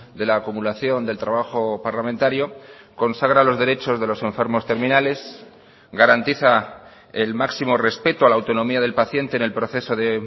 de la acumulación del trabajo parlamentario consagra los derechos de los enfermos terminales garantiza el máximo respeto a la autonomía del paciente en el proceso de